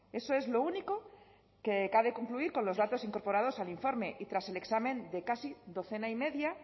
eso es lo único que cabe concluir con los datos incorporados al informe y tras el examen de casi docena y media